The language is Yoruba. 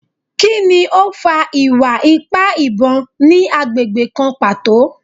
Kini o fa iwa-ipa ibon ni agbegbe kan pato?